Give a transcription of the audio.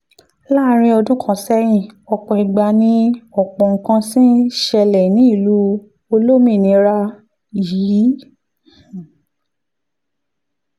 láàárín ọdún kan sẹ́yìn ọ̀pọ̀ ìgbà ni ọ̀pọ̀ nǹkan ti ń ṣẹlẹ̀ ní ìlú olómìnira yìí